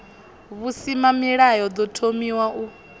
v husimamilayo ḓo thomiwaho u